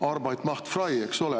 Arbeit macht frei, eks ole.